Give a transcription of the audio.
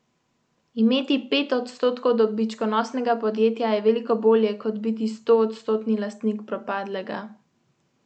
Nagrado so podelili na današnji osrednji slovesnosti ob dnevu slovenskih splošnih knjižnic v Aninem dvoru v Rogaški Slatini.